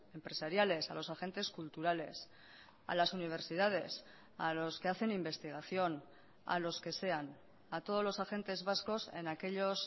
empresariales a los agentes culturales a las universidades a los que hacen investigación a los que sean a todos los agentes vascos en aquellos